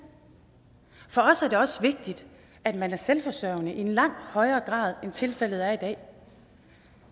for os er det også vigtigt at man er selvforsørgende i langt højere grad end tilfældet er i dag